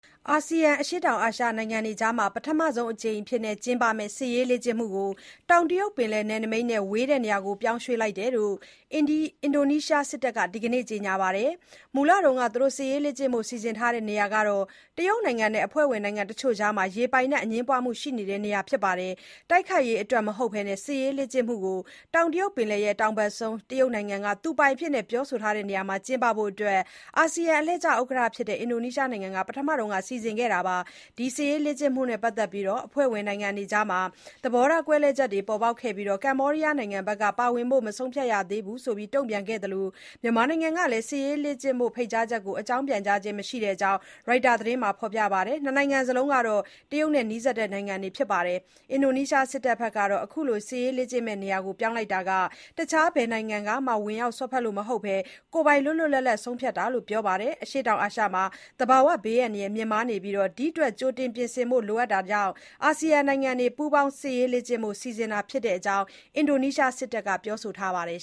အာဆီယံ အရှေ့တောင်အာရှ နိုင်ငံတွေအကြား ပထမဆုံး အကြိမ် ကျင်းပမယ့် စစ်ရေးလေ့ကျင့်မှုကို တောင်တရုတ်ပယ်လယ် နယ်နမိတ်နဲ့ ဝေးတဲ့နေရာ ပြောင်းရွေ့လိုက်တဲ့အကြောင်း အင်ဒိုနီးရှား စစ်တပ်က ဒီနေ့ ကြေညာပါတယ်။ မူလက စစ်ရေးလေ့ကျင့်ဖို့ စီစဉ်ထားတဲ့နေရာဟာ တရုတ်နိုင်ငံနဲ့ အဖွဲ့ဝင်နိုင်ငံတချို့ အကြား ရေပိုင်နက် အငြင်းပွားမှုတွေ ရှိနေတဲ့ နေရာဖြစ်ပါတယ်။ တိုက်ခိုက်ရေး အတွက်မဟုတ်တဲ့ စစ်ရေးလေ့ကျင့်မှုကို တောင်တရုတ်ပင်လယ် တောင်ဘက်ဆုံး တရုတ်နိုင်ငံက သူပိုင်အဖြစ် ပြောဆိုနေတဲ့နေရာမှာ ကျင်းပဖို့ အာဆီယအလှည့်ကျ ဥက္ကဌဖြစ်တဲ့ အင်ဒိုနီးရှားနိုင်ငံက ပထမ စီစဉ်ခဲ့တာပါ။ ဒီစစ်ရေးလေ့ကျင့်မှုနဲ့ ပတ်သက်လို့ အဖွဲ့ဝင်နိုင်ငံတွေအကြား သဘောထားကွဲလွဲချက်တွေလည်း ပေါ်ပေါက်ခဲ့ပြီး ကမ္ဘောဒီးယားနိုင်ငံက ပါဝင်ဖို့ မဆုံးဖြတ်ရသေးဘူးလို့ တုံ့ပြန်ခဲ့သလို မြန်မာနိုင်ငံ ကလည်း စစ်ရေးလေ့ကျင့်ဖို့ ဖိတ်ကြားချက်ကို အကြောင်းပြန်ကြားခြင်း မရှိတဲ့အကြောင်း ရိုက်တာ သတင်းမှာ ဖေါ်ပြပါတယ်။ နှစ်နိုင်ငံစလုံးဟာ တရုတ်နိုင်ငံနဲ့ ဆက်ဆံရေး နီးစပ်တဲ့ နိုင်ငံတွေ ဖြစ်ပါတယ်။ အင်ဒိုနီးရှားစစ်တပ်ကတော့ အခုလို စစ်ရေးလေ့ကျင့်မယ့် နေရာပြောင်းလိုက်တာ တခြား ဘယ်နိုင်ငံကမှာ ဝင်ပြီး စွက်ဖက်လို့ မဟုတ်ဘဲ၊ ကိုယ်ပိုင် လွတ်လွတ်လပ်လပ်လပ် ဆုံးဖြတ်တာလို့ ပြောဆိုပါတယ်။ အရှေ့တောင်အာရှမှာ သဘာဝဘေးအန္တရာယ် မြင့်မားနေပြီး ဒီအတွက် ကြိုတင်ပြင်ဆင်ဖို့ လိုအပ်တာကြောင့် ASEAN နိုင်ငံတွေ ပူးပေါင်း စစ်ရေးလေ့ကျင့်ဖို့ စီစဉ်တာဖြစ်တဲ့အကြောင်းလည်း အင်ဒိုနီးရှား စစ်တပ်က ပြောဆိုထားပါတယ်